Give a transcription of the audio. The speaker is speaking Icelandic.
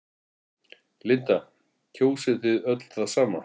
Linda: Kjósið þið öll það sama?